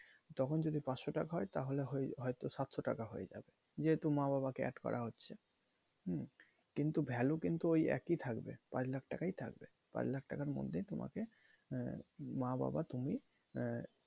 তখন যদি পাঁচশো টাকা হয় তাহলে সাতশো টাকা হয়ে যাবে যেহেতু মা বাবা কে add করা হচ্ছে হুম? কিন্তু value কিন্তু ওই একই থাকবে পাঁচ লাখ টাকাই থাকবে পাঁচ লাখ টাকার মধ্যেই তোমাকে আহ মা বাবা তুমি আহ